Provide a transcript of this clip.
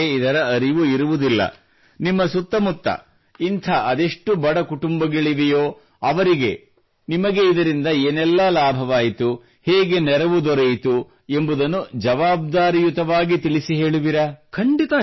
ಜನರಿಗೆ ಇದರ ಅರಿವಿರುವುದಿಲ್ಲ ನಿಮ್ಮ ಸುತ್ತಮುತ್ತ ಇಂಥ ಅದೆಷ್ಟು ಬಡ ಕುಟುಂಬಗಳಿವೆಯೋ ಅವರಿಗೆ ನಿಮಗೆ ಇದರಿಂದ ಏನೆಲ್ಲ ಲಾಭವಾಯಿತು ಹೇಗೆ ನೆರವು ದೊರೆಯಿತು ಎಂಬುದನ್ನು ಜವಾಬ್ದಾರಿಯುತವಾಗಿ ತಿಳಿಸಿ ಹೇಳುವಿರಾ